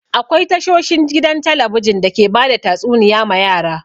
Akwai tashoshin a gidan talabijin da ke bada tatsuniya ma yara.